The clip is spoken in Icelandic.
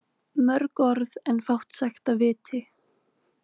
Mörg orð en fátt sagt af viti.